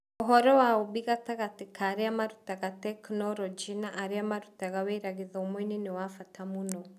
Ũhoro wa ũũmbi gatagatĩ ka arĩa marutaga tekinoronjĩ na arĩa marutaga wĩra gĩthomo-inĩ nĩ wa bata mũno.